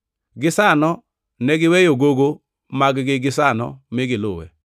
Gisano ne giweyo gogo mag-gi gisano mi giluwe.